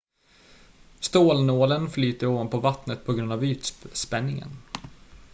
stålnålen flyter ovanpå vattnet på grund av ytspänningen